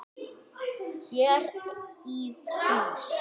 Hér í hús.